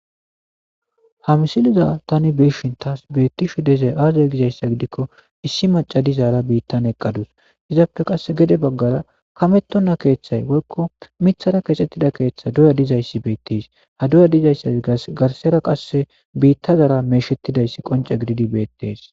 Ha misiliza tani beshin taas beettishu dezey aazay gizayssa gidikko issi macadizaara biittan eqqadus izaappe qass gede baggara kamettonna keeththay woykko mithara keexxettida keeththa duya dizayssi beettis ha duya dizayssa gas garsera qasse biittazaara meeshettidayssi qonce gididi beettees.